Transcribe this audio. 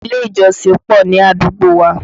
Ilé ìjọsìn pọ̀ ní àdúgbò wa